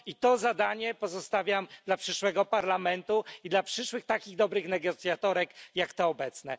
I to zadanie pozostawiam dla przyszłego parlamentu i dla przyszłych takich dobrych negocjatorek jak te obecne.